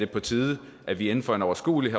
på tide at vi inden for en overskuelig